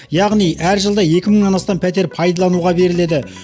яғни әр жылда екі мыңнан астам пәтер пайдалануға беріледі